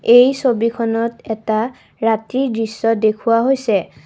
এই ছবিখনত এটা ৰাতিৰ দৃশ্য দেখুওৱা হৈছে।